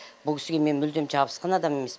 бұл кісіге мен мүлдем жабысқан адам емеспін